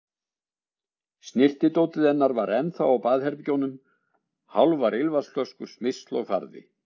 Snyrtidótið hennar var ennþá á baðherbergjunum, hálfar ilmvatnsflöskur, smyrsl og farði.